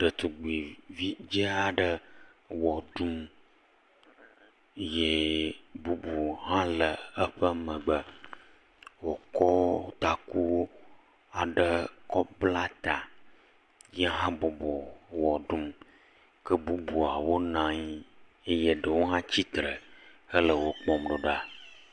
Ɖetugbui vi dze aɖe wɔ ɖum eye bubu hã le eye ƒe megbe, wokɔ taku aɖe kɔ bla ta ye habɔbɔ le wɔ ɖum. Ke bubuawo nɔ anyi, ɖewo hã tsi tre hele wokpɔm do ɖa.